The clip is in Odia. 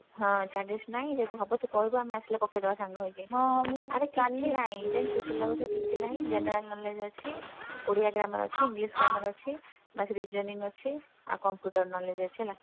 ହଁ charges ନାହିଁ ଯଦି ହବ ତୁ କହିବୁ ଆମେ ଆସିଲେ ପକେଇଦବା ସାଙ୍ଗ ହେଇକି ଜାଣିଛୁ syllabus ରେ କିଛି ନାହିଁ General Knowledge ଅଛି Odia grammar ଅଛି, English ଅଛି ବାସ୍ Reasoning ଅଛି। ଆଉ Computer Knowledge ଅଛି ହେଲା।